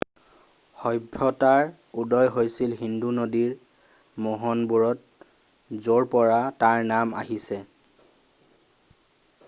সভ্যতাৰ উদয় হৈছিল সিন্ধু নদীৰ মোহন বোৰত য'ৰপৰা তাৰ নাম আহিছে